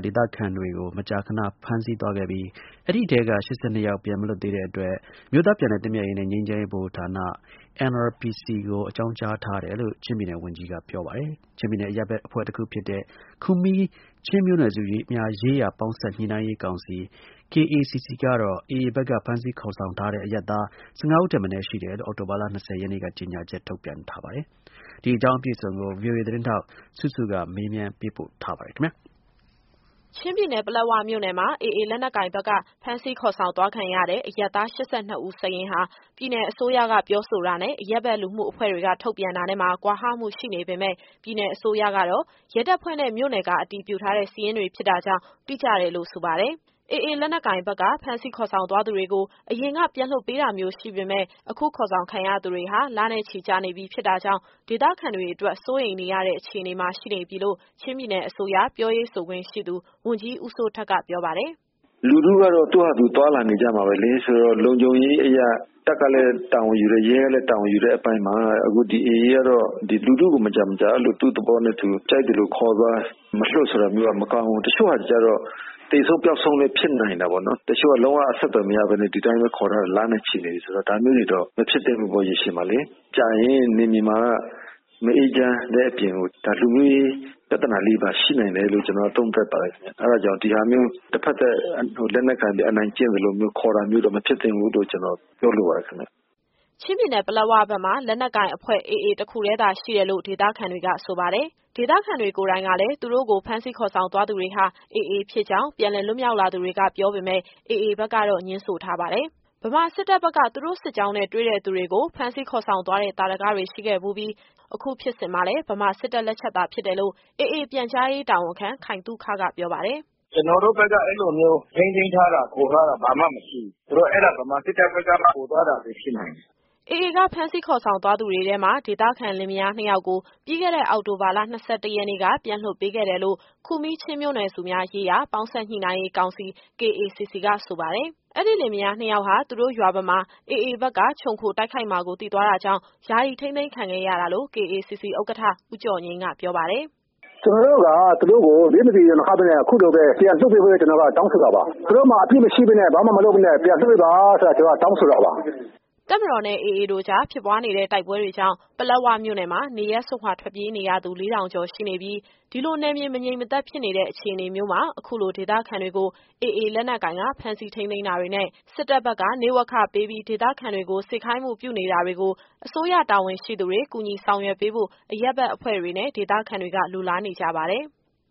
ဒေသခံတွေကို မကြာခဏ ဖမ်းဆီးသွားခဲ့ပြီး အဲဒီထဲက ၈၂ ယောက်ပြန်မလွတ်သေးတဲ့ အတွက် အမျိုးသားပြန်လည်သင့်မြတ်ရေးနဲ့ ငြိမ်းချမ်းရေးဗဟိုဌာန NRPC ကို အကြောင်းကြားထားတယ်လို့ ချင်းပြည်နယ် ဝန်ကြီးကပြောပါတယ်။ ချင်းပြည်နယ်အရပ်ဘက် အဖွဲ့တခုဖြစ်တဲ့ ခူမီးချင်းမျိုးနွယ်စုများရေးရာ ပေါင်းစပ်ညှိနှိုင်းရေးကောင်စီ KACC ကတော့ AA ဘက်က ဖမ်းဆီးခေါ်ဆောင်ထားတဲ့ အရပ်သား ၁၅ဦးထက်မနည်း ရှိတယ်လို့ အောက်တိုဘာလ ၂၀ရက်နေ့က ကြေညာချက် ထုတ်ပြန်ထားပါတယ်။ ဒီအကြောင်းအပြည့်အစုံကို ဗွီအိုအေသတင်းထောက် စုစုကမေးမြန်း ပေးပို့ထားပါတယ်။ ချင်းပြည်နယ်၊ ပလက်ဝမြို့နယ်မှာ AAလက်နက်ကိုင်ဘက်က ဖမ်းဆီးခေါ်ဆောင်သွားခံရတဲ့ အရပ်သား ၈၂ ဦးစာရင်းဟာ ပြည်နယ်အစိုးရက ပြောဆိုတာနဲ့၊ အရပ်ဘက်လူမှုအဖွဲ့တွေက ထုတ်ပြန်တာနဲ့မှာ ကွာဟမှုရှိနေပေမယ့်ပြည်နယ်အစိုးရကတော့ ရဲတပ်ဖွဲ့နဲ့ မြို့နယ်က အတည်ပြုထားတဲ့ စာရင်းတွေဖြစ်တာကြောင့် တိကျတယ်လို့ ဆိုပါတယ်။ AA လက်နက်ကိုင်ဘက်က ဖမ်းဆီးခေါ်ဆောင်သွားသူတွေကို အရင်က ပြန်လွှတ်ပေးတာမျိုးရှိပေမယ့် အခုခေါ်ဆောင်ခံရသူတွေဟာ လနဲ့ချီကြာနေပြီဖြစ်တာကြောင့် ဒေသခံတွေအတွက် စိုးရိမ်ရတဲ့အခြေအနေမှာ ရှိနေပြီလို့ ချင်းပြည်နယ်အစိုးရ ပြောရေးဆိုခွင့်ရှိသူ ဝန်ကြီးဦးစိုးထက်က ပြောပါတယ်။ “လူထုကတော့ သူ့ဟာသူသွားလာနေကြမှာပဲလေ။ ဆိုတော့ လုံခြုံရေးအရ တပ်ကလည်း တာဝန်ယူတယ်။ ရဲကလည်း တာဝန်ယူတဲ့အပိုင်းမှာ အခု ဒီ AA ကတော့ ဒီလူထုကို မကြာမကြာ အဲလိုသူ့သဘောနဲ့သူ ကြိုက်သလိုခေါ်သွား၊ မလွှတ်ဆိုတာမျိုးက မကောင်းဘူး။ တချို့ဟာတွေကျတော့ သေဆုံး၊ ပျောက်ဆုံးလည်း ဖြစ်နိုင်တာပေါ့နော်။ တချို့က လုံးဝအဆက်အသွယ်မရဘဲနဲ့ ဒီတိုင်းပဲခေါ်ထားတာ လနဲ့ချီနေပြီဆိုတော့ ဒါမျိုးတွေတော့ မဖြစ်သင့်ဘူးပေါ့ ရေရှည်မှာလေ။ ကြာရင် နယ်မြေမှာက မအေးချမ်းတဲ့အပြင်ကို ဒါလူမျိုးရေးပြဿနာလေးတွေပါ ရှိနိုင်တယ်လို့ ကျတော်ကတော့ သုံးသပ်ပါတယ်ခင်ဗျ။ အဲဒါကြောင့် ဒီဟာမျိုး တဖက်သတ် လက်နက်ကိုင်ပြီး အနိုင်ကျင့်သလိုမျိုး ခေါ်တာမျိုးတော့ မဖြစ်သင့်ဘူးလို့ ကျတော်ပြောလိုပါတယ်ခင်ဗျ။” ချင်းပြည်နယ်၊ ပလက်ဝဘက်မှာ လက်နက်ကိုင်အဖွဲ့ AA တခုတည်းသာရှိတယ်လို့ ဒေသခံတွေက ဆိုပါတယ်။ ဒေသခံတွေကိုယ်တိုင်ကလည်း သူတို့ကို ဖမ်းဆီးခေါ်ဆောင်သွားသူတွေဟာ AA ဖြစ်ကြောင်းပြန်လည်လွတ်မြောက်လာသူတွေက ပြောပေမယ့် AA ဘက်ကတော့ ငြင်းဆိုထားပါတယ်။ ဗမာစစ်တပ်က သူတို့စစ်ကြောင်းနဲ့ တွေ့တဲ့သူတွေကို ဖမ်းဆီးခေါ်ဆောင်သွားတဲ့ သာဓကတွေ ရှိခဲ့ဖူးပြီး၊ အခုဖြစ်စဉ်မှာလည်း ဗမာစစ်တပ်လက်ချက်သာဖြစ်တယ်လို့ AA ပြန်ကြားရေးတာဝန်ခံ ခိုင်သုခ က ပြောပါတယ်။ “ကျတော်တို့ဘက်က အဲလိုမျိုး ထိန်းသိမ်းထားတာ၊ ခေါ်ထားတာ ဘာမှမရှိဘူး။ ဆိုတော့ အဲဒါ ဗမာစစ်တပ်ဘက်က ခေါ်သွားတာပဲ ဖြစ်နိုင်တယ်။” AA ကဖမ်းဆီးခေါ်ဆောင်သွားသူတွေထဲမှာ ဒေသခံလင်မယားနှစ်ယောက်ကို ပြီးခဲ့တဲ့ အောက်တိုဘာလ ၂၁ရက်နေ့က ပြန်လွှတ်ပေးခဲ့တယ်လို့ ခူမီးချင်းမျိုးနွယ်စုများရေးရာ ပေါင်းစပ်ညှိနှိုင်းရေးကောင်စီ KACC က ဆိုပါတယ်။ အဲဒီလင်မယားနှစ်ယောက်ဟာ သူတို့ရွာဘက်မှာ AAဘက်က ချုံခိုတိုက်ခိုက်မှာကို သိသွားတာကြောင့် ယာယီထိန်းသိမ်းခံခဲ့ရတာလို့ KACC ဥက္ကဋ္ဌ ဦးကျော်ငြိမ်းက ပြောပါတယ်။ “ကျတော်တို့က သူတို့ကို ဘေးမသီ ရန်မခဘဲနဲ့ အခုလိုပဲ ပြန်လွှတ်ပေးဖို့အတွက် ကျတော်တို့က တောင်းဆိုတာပါ။ သူတို့မှာ အပြစ်မရှိဘဲနဲ့ ဘာမှမလုပ်ဘဲနဲ့ ပြန်လွှတ်ပေးပါဆိုတာ ကျတော်တို့က တောင်းဆိုတာပါ။” တပ်မတော်နဲ့ AA တို့ကြား ဖြစ်ပွားနေတဲ့ တိုက်ပွဲတွေကြောင့် ပလက်ဝမြို့နယ်မှာ နေရပ်စွန့်ခွာ ထွက်ပြေးနေရသူ ၄၀၀၀ ကျော်ရှိနေပြီး၊ ဒီလိုနယ်မြေ မငြိမ်မသက်ဖြစ်နေတဲ့ အခြေအနေမျိုးမှာ အခုလို ဒေသခံတွေကို AA လက်နက်ကိုင်က ဖမ်းဆီးထိန်းသိမ်းတာတွေနဲ့ စစ်တပ်ဘက်က နေ့ဝက်ခပေးပြီး ဒေသခံတွေကို စေခိုင်းမှုပြုနေတာတွေကို အစိုးရတာဝန်ရှိသူတွေ ကူညီဆောင်ရွက်ပေးဖို့ အရပ်ဘက်အဖွဲ့တွေနဲ့ ဒေသခံတွေက လိုလားနေကြပါတယ်။